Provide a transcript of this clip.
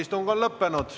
Istung on lõppenud.